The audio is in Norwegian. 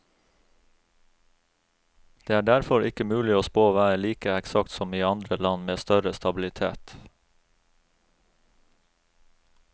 Det er derfor ikke mulig å spå været like eksakt som i andre land med større stabilitet.